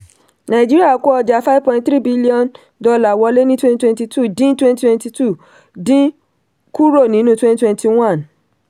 nàìjíríà kó ọjà five point three b wọlé ní twenty twenty two dín twenty twenty two dín kúrò nínú twenty twenty one.